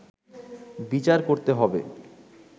বিচার করতে হবে”